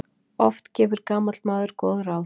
Oft gefur gamall maður góð ráð.